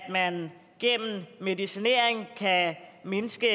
at man gennem medicinering kan mindske